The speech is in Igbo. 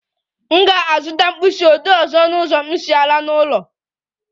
M ga-azụta mkpịsị odee ọzọ na ụzọ m si aga n'ụlọ